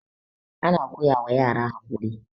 ana koyawa yara haƙuri